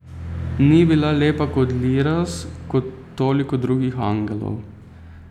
Ni bila lepa kot Liraz, kot toliko drugih angelov.